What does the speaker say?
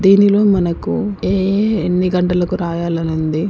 దీనిలో మనకు ఏ ఏ ఎన్ని గంటలకు రాయాలని ఉంది.